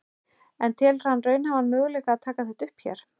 En telur hann raunhæfan möguleika að taka þetta upp hér?